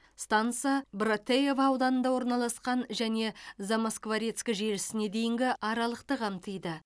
станса братеево ауданында орналасқан және замоскворецк желісіне дейінгі аралықты қамтиды